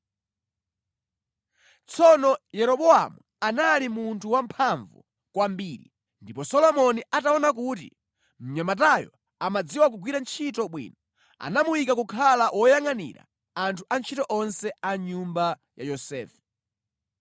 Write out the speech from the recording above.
Tsono Yeroboamu anali munthu wamphamvu kwambiri ndipo Solomoni ataona kuti mnyamatayo amadziwa kugwira ntchito bwino, anamuyika kukhala woyangʼanira anthu a ntchito onse a nyumba ya Yosefe.